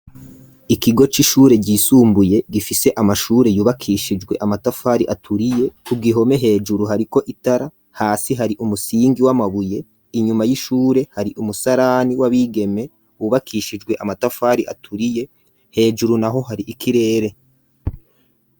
ikigo c'ishure ryisumbuye gifise amashure yubakishijwe amatafari aturiye ku gihome hejuru hariko itara hasi hari umusingi w'amabuye inyuma y'ishure hari umusarani w'abigeme wubakishijwe amatafari aturiye hejuru naho hari ikirere.